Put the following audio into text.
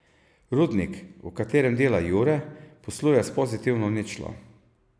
Rudnik, v katerem dela Jure, posluje s pozitivno ničlo.